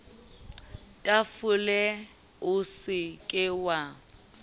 tafole o se ke wa